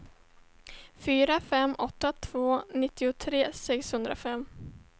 fyra fem åtta två nittiotre sexhundrafem